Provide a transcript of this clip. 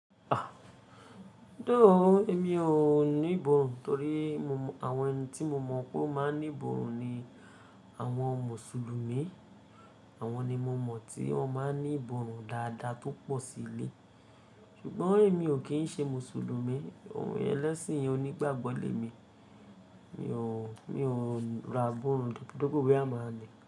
Doh! Èmi ò ní ìbòòrùn torí àwọn ẹni tí mo mọ̀ pé ó máa ń ní ìbòòrù ni àwọn Mùsùlùmí. Àwọn ni mo mọ̀ tí wọ́n máa ń ní ìbòòrù dáadáa tó pọ̀ sí ilé. Ṣùgbọ́n èmi ò kí ń ṣe Mùsùlùmí, ẹlẹ́sìn ò ní gbàgbọ́ lé mi. Mi ò, mi ò ra ìbòòrùn depo boya maa ni.